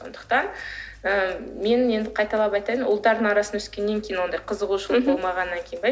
сондықтан ы мен енді қайталап айтайын ұлдардың арасында өскеннен кейін ондай қызығушылық болмағаннан кейін бе